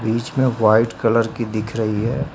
बीच में white colour की दिख रही है।